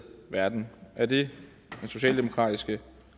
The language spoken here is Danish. verden er det den socialdemokratiske